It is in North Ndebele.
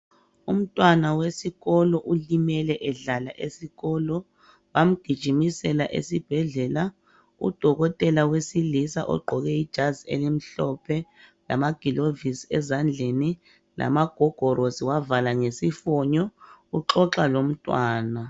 Umntwana wesikolo ulimele edlala esikolo, bamgijimisela esibhedlela. Udokotela wesilisa ogqoke ijazi elimhlophe, lamagilovisi ezandleni, lamagogorosi wavala ngesifonyo, uxoxa lomntwana.